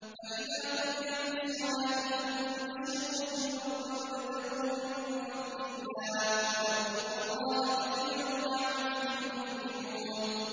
فَإِذَا قُضِيَتِ الصَّلَاةُ فَانتَشِرُوا فِي الْأَرْضِ وَابْتَغُوا مِن فَضْلِ اللَّهِ وَاذْكُرُوا اللَّهَ كَثِيرًا لَّعَلَّكُمْ تُفْلِحُونَ